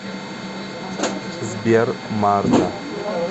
сбер марта